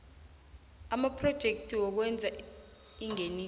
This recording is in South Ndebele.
amaphrojekthi wokwenza ingeniso